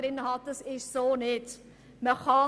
Dem ist nicht so.